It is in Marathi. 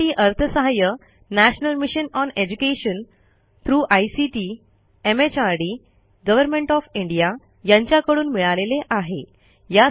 यासाठी अर्थसहाय्य national mission on education through ICT MHRD government of India यांच्याकडून मिळालेले आहे